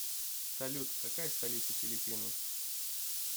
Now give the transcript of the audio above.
салют какая столица филиппины